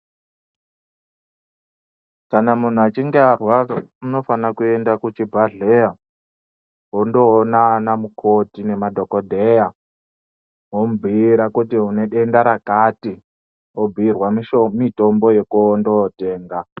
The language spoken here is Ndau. Kana munhu achinge arwara unofana kuenda kuchibhadhleya wondoona anamukoti nemadhogodheya womubhuira kuti unedenda rakati, wobhuirwa mitombo yekundootenga.